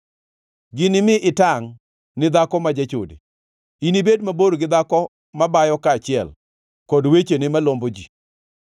ginimi itangʼ ni dhako ma jachode, inibed mabor gi dhako mabayo kaachiel, kod wechene malombo ji.